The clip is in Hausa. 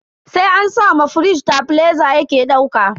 Sai an sa ma firij tebileza yake dauka.